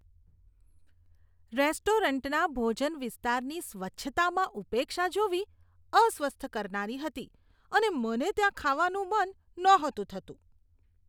રેસ્ટોરન્ટના ભોજન વિસ્તારની સ્વચ્છતામાં ઉપેક્ષા જોવી અસ્વસ્થ કરનારી હતી અને મને ત્યાં ખાવાનું મન નહોતું થતું.